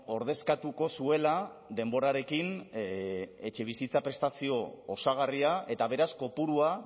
ordezkatuko zuela denborarekin etxebizitza prestazio osagarria eta beraz kopurua